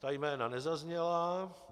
Ta jména nezazněla.